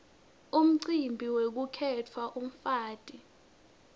umcibi wekukhetsa umfati